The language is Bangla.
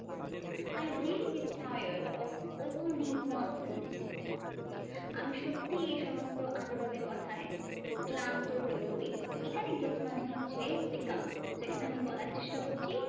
I really get tired of all this nonsense. আমি সত্যি এইসমস্ত আজেবাজে কথায় ক্লান্ত হয়ে পড়ি। এখানে get মানে হচ্ছে become. সেখানে আমরা বলার চেষ্টা করছি